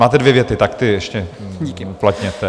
Máte dvě věty, tak ty ještě uplatněte.